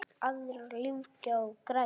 Aðrar lífga og græða.